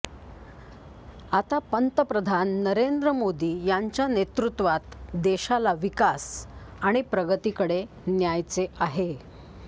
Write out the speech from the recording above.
आता पंतप्रधान नरेंद्र मोदी यांच्या नेतृत्वात देशाला विकास आणि प्रगतीकडे न्यायचे आहे